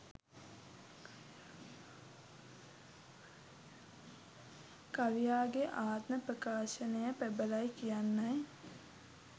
කවියාගේ ආත්ම ප්‍රකාශනය ප්‍රබලයි කියන්නයි